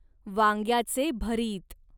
वांग्याचे भरीत